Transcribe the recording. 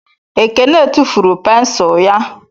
Ekene tufuru pensụl ya